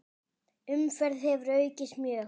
Umferð hefur aukist mjög.